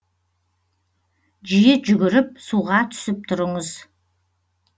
жиі жүгіріп суға түсіп тұрыңыз